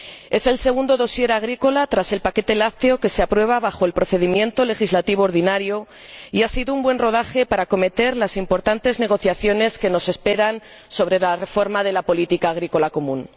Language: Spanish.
Es el segundo expendiente agrícola, tras el paquete lácteo, que se aprueba en virtud del procedimiento legislativo ordinario, y ha sido un buen rodaje para acometer las importantes negociaciones que nos esperan sobre la reforma de la política agrícola común.